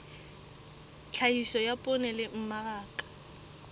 tlhahiso ya poone le mmaraka